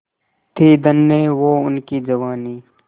थी धन्य वो उनकी जवानी